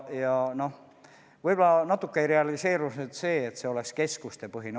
Ja noh, võib-olla natuke realiseerus see, et reform oleks keskustepõhine.